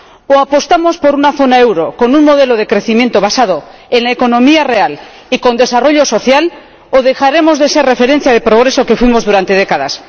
O apostamos por una zona del euro con un modelo de crecimiento basado en la economía real y con desarrollo social o dejaremos de ser la referencia de progreso que fuimos durante décadas.